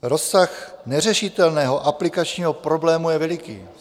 Rozsah neřešitelného aplikačního problému je veliký.